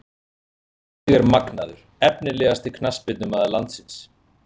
Gylfi Sig er magnaður Efnilegasti knattspyrnumaður landsins?